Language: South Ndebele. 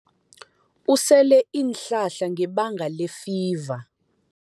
Usele iinhlahla ngebanga lefiva.